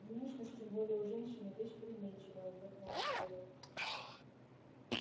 внешность тем более у женщины вещь переменчивая вздохнул михаил